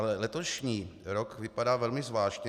Ale letošní rok vypadá velmi zvláštně.